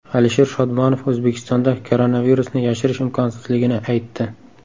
Alisher Shodmonov O‘zbekistonda koronavirusni yashirish imkonsizligini aytdi.